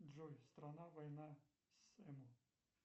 джой страна война с эму